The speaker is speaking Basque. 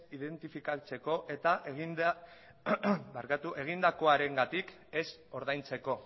identifikatzeko eta egindakoarengatik ez ordaintzeko